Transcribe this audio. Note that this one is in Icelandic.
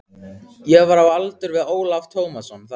Ég var á aldur við Ólaf Tómasson þá.